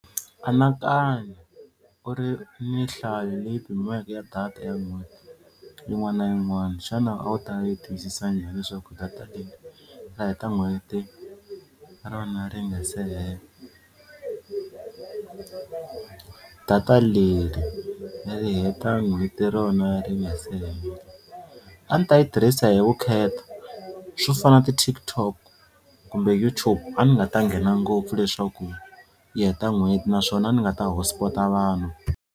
Anakanya u ri ni nhlayo leyi pimiweke ya data ya n'hweti yin'wana na yin'wana xana a wu ta yi tiyisisa njhani leswaku data leyi nga heta n'hweti rona ri nga se hela? Data leri ri heta n'hweti rona ri nga si hela a ni ta yi tirhisa hi vukheta swo fana na ti-TikTok kumbe YouTube a ni nga ta nghena ngopfu leswaku yi heta n'hweti naswona ni nga ta hotspot-a vanhu.